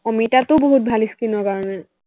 অমিতাটো বহুত ভাল skin ৰ কাৰনে